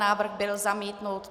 Návrh byl zamítnut.